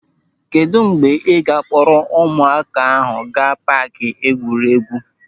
Kedụ mgbe ị ga akpọrọ ụmụaka ahụ gaa paaki egwuregwu.